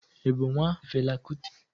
Ị bụ nwa Fela Kuti?